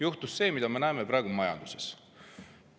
Juhtus see, mida me näeme praegu majanduses.